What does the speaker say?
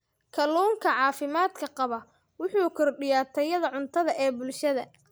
Kalluunka caafimaadka qaba wuxuu kordhiyaa tayada cuntada ee bulshada.